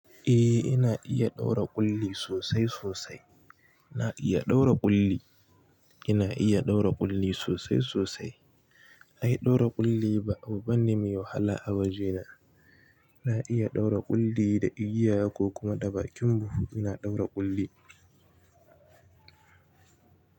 Eh ina iya ɗaura ƙulli sosai sosai. Na iya ɗaura ƙulli. Ina iya ɗaura ƙulli sosai sosai. Ai ɗaura ƙulli ba abu bane mai wahala a wajena. Na iya ɗaura ƙulli da igiya ko kuma da bakin buhu ina ɗaura ƙulli.